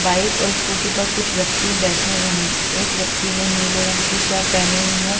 Bike और scooty पर कुछ व्यक्ती बैठे हुए हैं एक व्यक्ती ने नीले रंग की शर्ट पेहनी हुई है।